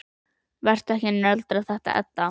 Vertu ekki að nöldra þetta, Edda.